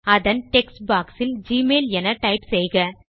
அதன் text box இல் Gmail என டைப் செய்க